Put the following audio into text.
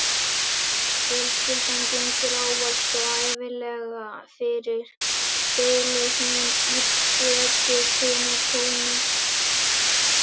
Fjölskyldan gengur ávallt og ævinlega fyrir, þylur hún í predikunartóni.